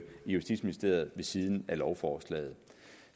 justitsministeriet ved siden af lovforslaget